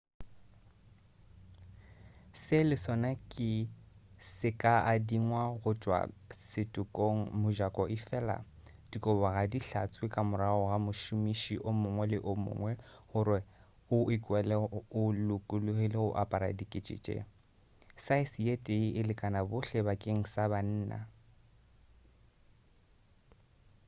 se le sona se ka adingwa go tšwa setokong mojako efela dikobo ga di hlatswe ka morago ga mošomiši o mongwe le o mongwe gore o ikwele o lokologile go apara dikete tše saese ye tee e lekana bohle bakeng sa banna